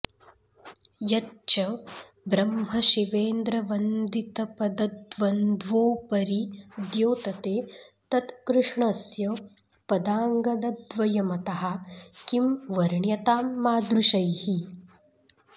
यच्च ब्रह्मशिवेन्द्रवन्दितपदद्वन्द्वोपरि द्योतते तत्कृष्णस्य पदाङ्गदद्वयमतः किं वर्ण्यतां मादृशैः